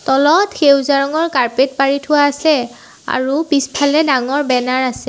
তলত সেউজীয়া ৰঙৰ কাৰ্পেট পাৰি থোৱা আছে আৰু পিছফালে ডাঙৰ বেনাৰ আছে।